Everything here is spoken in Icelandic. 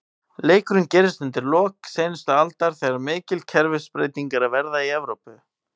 Leikurinn gerist undir lok seinustu aldar, þegar mikil kerfisbreyting er að verða í Evrópu.